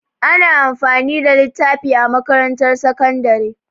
Ana amfani da littafi a makarantar sakandare.